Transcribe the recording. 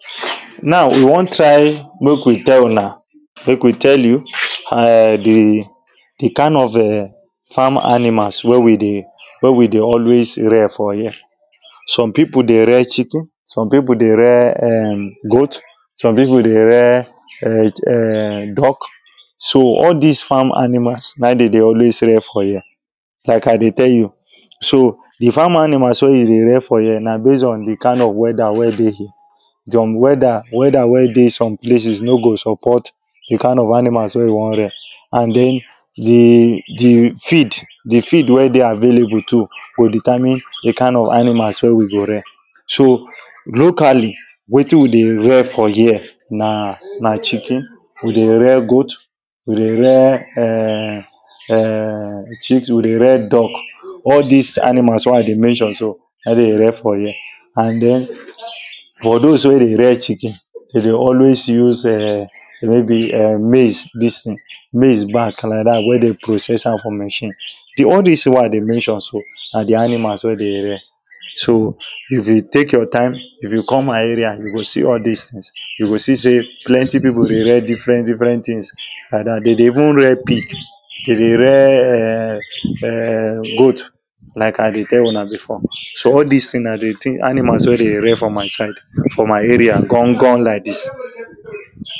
now we wan try make we tell una make we tell you a um the the kind of um farm animals wey we dey wey we dey always rear for here some people dey rear chicken some people dey rear um goat some people dey rear um um duck so all this farm animals na im them dey always rear for here like i dey tell you so the farm animals wey you dey rear for here na base on the kind of whether wey deyhere some whether whether wey dey some places no go support the kind of animals wey you wan rear and then the the feed the feed wey dey available too go determine the kind of animals wey we go rear so locally wetin we dey rear for here na na chicken we dey rear goat we dey rear um um chicken we dey rear duck all this animals wey i dey mention so na im them dey rear for here and then for those wey dey rear chicken they dey always use um maybe um maize this thing maize back like that wey them process am for machine all this things wey i dey mention so and the animals wey they rear so if you take your time if you come my area you go see all this things you go see plenty people dey rear different different things like that they dey even rear pig them dey rear um um goat like i dey tell una before so all this things na the t animals wey they rear for my side for my arear gangan like this